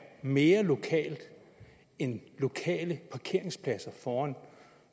mere lokalt end lokale parkeringspladser foran